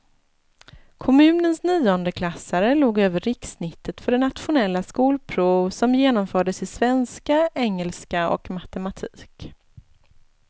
Kommunens niondeklassare låg över rikssnittet för det nationella skolprov som genomfördes i svenska, engelska och matematik.